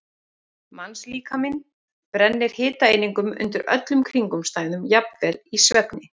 Mannslíkaminn brennir hitaeiningum undir öllum kringumstæðum, jafnvel í svefni.